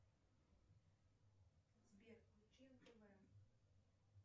сбер включи нтв